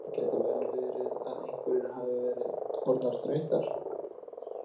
Gæti vel verið að einhverjar hafa verið orðnar þreyttar.